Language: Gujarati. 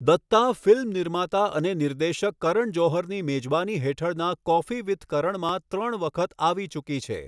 દત્તા ફિલ્મ નિર્માતા અને નિર્દેશક કરણ જોહરની મેજબાની હેઠળના કોફી વિથ કરણમાં ત્રણ વખત આવી ચૂકી છે.